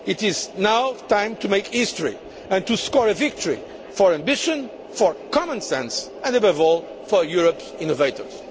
It is now time to make history and to score a victory for ambition, for common sense and, above all, for Europe's innovators.